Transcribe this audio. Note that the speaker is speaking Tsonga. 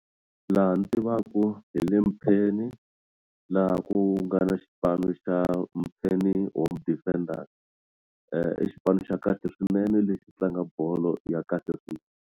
Laha ni tivaku hi le Mpheni laha ku nga na xipano xa Mpheni Home Defenders i xipano xa kahle swinene lexi xi tlanga bolo ya kahle .